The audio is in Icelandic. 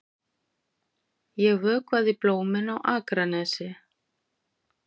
Ég vökvaði blómin á Akranesi.